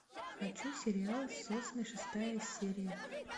хочу сериал сосны шестая серия